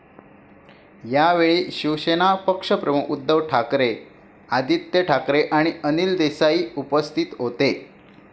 यावेळी शिवसेना पक्षप्रमुख उद्धव ठाकरे, आदित्य ठाकरे आणि अनिल देसाई उपस्थितीत होते.